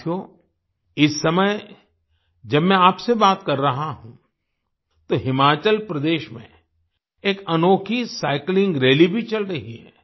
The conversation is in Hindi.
साथियो इस समय जब मैं आपसे बात कर रहा हूँ तो हिमाचल प्रदेश में एक अनोखी साइक्लिंग रैली भी चल रही है